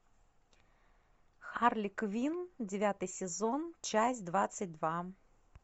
харли квинн девятый сезон часть двадцать два